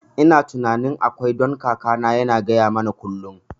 Ina tunanin akwai, don kakana yana gaya mana kullum